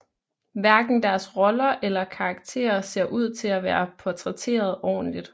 Hverken deres roller eller karakter ser ud til at være portrætteret ordentligt